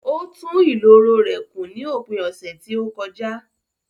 Ó tún ìloro ilé rẹ̀ kùn ní òpin ọ̀sẹ̀ tí ó kọjá